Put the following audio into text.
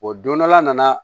O don dɔ la a nana